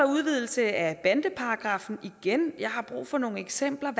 udvidelse af bandeparagraffen igen jeg har brug for nogle eksempler